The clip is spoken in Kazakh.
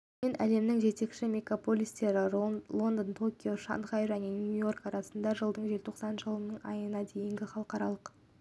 мен әлемнің жетекші мегаполистері лондон токио шанхай және нью-йорк арасына жылдың желтоқсан айына дейін халықаралық